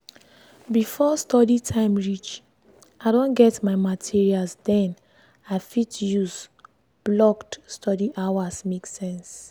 before study time reach i don get my materials den i fit use blocked study hours make sense